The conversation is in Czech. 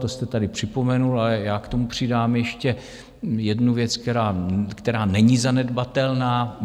To jste tady připomenul, ale já k tomu přidám ještě jednu věc, která není zanedbatelná.